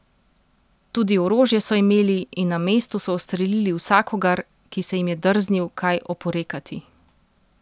Tudi orožje so imeli in na mestu so ustrelili vsakogar, ki se jim je drznil kaj oporekati.